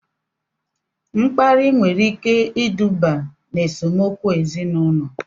Mkparị nwere ike iduba n'esemokwu ezinaụlọ